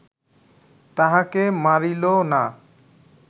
তাহাকে মারিল না